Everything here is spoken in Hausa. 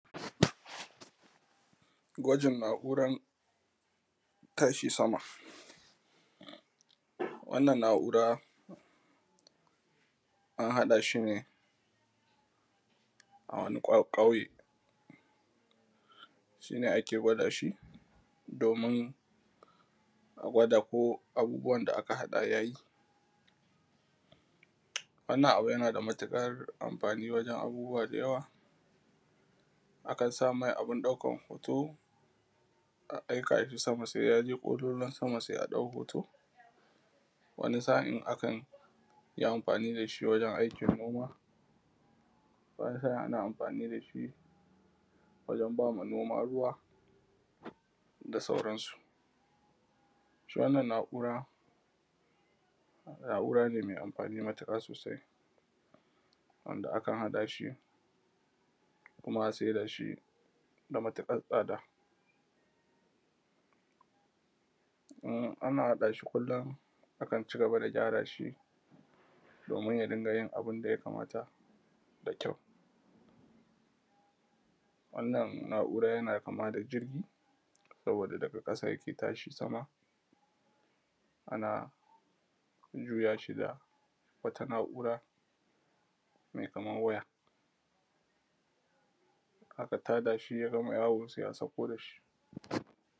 gwajin na’uran tashi sama wannan na’ura an haɗa shi ne a wani ƙauye shi ne ake gwada shi domin a gwada ko abubuwan da aka haɗa yayi wannan abu yana da matuƙar amfani wajen abubuwa da yawa akan sa mai abun ɗaukan hoto a aika shi sama sai yaje ƙololuwan sama sai a ɗau hoto wani sa’in akan yi amfani da shi wajen aikin noma wani sa’in ana amfani da shi wajen bama noma ruwa da sauran su shi wannan na’ura na’ura ce mai amfani matuƙa sosai wanda akan haɗa shi kuma a saida shi da matuƙar tsada in ana haɗa shi kullum akan cigaba da gyara shi domin ya dinga yin abun da ya kamata da kyau wannan na’ura yana kama da jirgi saboda daga ƙasa yake tashi sama ana juya shi da wata na’ura mai kaman waya aka tada shi ya gama yawo sai a sauko da shi